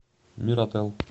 миротэл